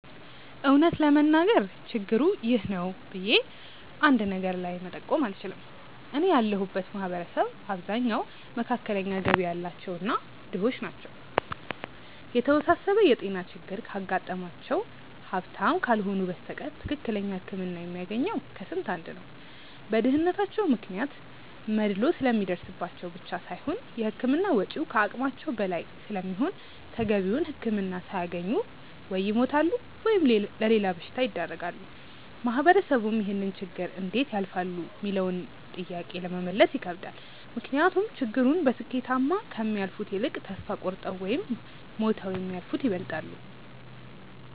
እውነት ለመናገር ችግሩ 'ይህ ነው' ብዬ አንድ ነገር ላይ መጠቆም አልችልም። እኔ ያለሁበት ማህበረሰብ አብዛኛው መካከለኛ ገቢ ያላቸው እና ድሆች ናቸው። የተወሳሰበ የጤና ችግር ካጋጠማቸው ሀብታም ካልሆኑ በስተቀር ትክክለኛ ህክምና የሚያገኘው ከስንት አንድ ነው። በድህነታቸው ምክንያት መድሎ ስለሚደርስባቸው ብቻ ሳይሆን የህክምና ወጪው ከአቅማቸው በላይ ስለሚሆን ተገቢውን ህክምና ሳያገኙ ወይ ይሞታሉ ወይም ለሌላ በሽታ ይዳረጋሉ። ማህበረሰቡም ይህንን ችግር እንዴት ያልፋሉ ሚለውንም ጥያቄ ለመመለስ ይከብዳል። ምክንያቱም ችግሩን በስኬታማ ከሚያልፉት ይልቅ ተስፋ ቆርጠው ወይም ሞተው የሚያልፉት ይበልጣሉ።